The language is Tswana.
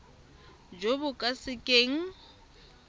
jo bo ka se keng